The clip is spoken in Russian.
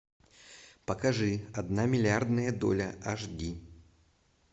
покажи одна миллиардная доля аш ди